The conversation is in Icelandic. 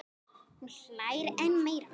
Hún hlær enn meira.